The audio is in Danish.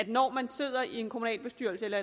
når man sidder i en kommunalbestyrelse eller